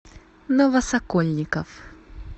новосокольников